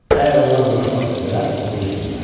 Əgər onlar vuruşmaq istəsələr, vuruşsunlar.